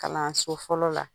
Kalanso fɔlɔ la.